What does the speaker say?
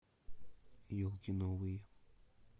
елки новые